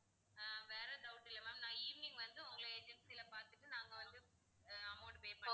ஆஹ் வேற doubt இல்ல ma'am நான் evening வந்து உங்களை agency ல பாத்துட்டு நாங்க வந்து ஆஹ் amount pay பண்றோம்.